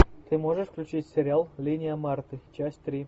ты можешь включить сериал линия марты часть три